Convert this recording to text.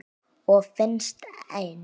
Og finnst enn.